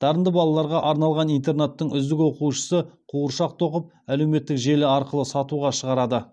дарынды балаларға арналған интернаттың үздік оқушысы қуыршақ тоқып әлеуметтік желі арқылы сатуға шығарады